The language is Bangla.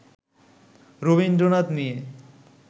রবীন্দ্রনাথ নিয়ে